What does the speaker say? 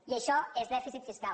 i això és dè·ficit fiscal